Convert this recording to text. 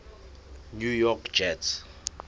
new york jets